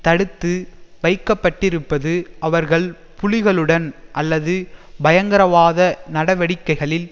தடுத்து வைக்க பட்டிருப்பது அவர்கள் புலிகளுடன் அல்லது பயங்கரவாத நடவடிக்கைகளில்